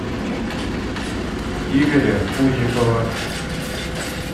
игоря пузикова